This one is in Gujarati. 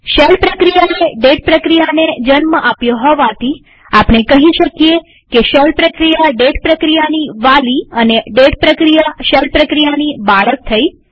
હવે શેલ પ્રક્રિયાએ ડેટ પ્રક્રિયાને જન્મ આપ્યો હોવાથી આપણે કહી શકીએ કે શેલ પ્રક્રિયા ડેટ પ્રક્રિયાની વાલી અને ડેટ પ્રક્રિયા શેલ પ્રક્રિયાની બાળક થઇ